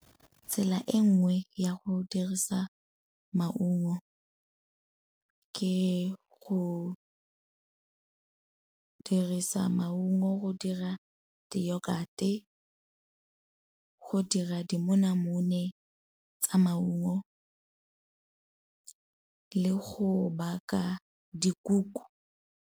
Tsela e nngwe ya go dirisa maungo ke go dirisa maungo go dira di-yogurt-e, go dira dimonamone tsa maungo le go baka dikuku.